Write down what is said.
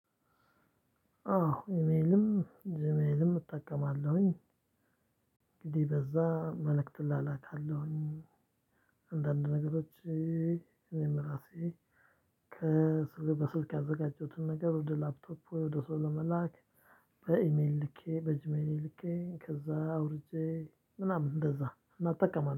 አዎ ኢሜልም ጁሜልም እጠቀማለሁኝ። እንግዲህ በዛ መልእክት እላላካለሁኝ። አንዳንድ ነገሮች እኔም ራሴ ከስር በስልክ ያዘጋጀሁትን ነገር ወደ ላፕቶፕ ወደ ሰው ለመላክ። በኢሜል ልኬ በጅሜሌ ልኬ ከዛ አውርጄ ምናምን እንደዛ እናጠቀማለን